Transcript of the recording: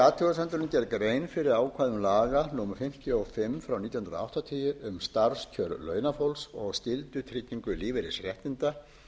athugasemdunum gerð grein fyrir ákvæðum laga númer fimmtíu og fimm nítján hundruð áttatíu um starfskjör launafólks og skyldutryggingu lífeyrisréttinda